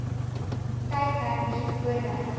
tyd hernu voordat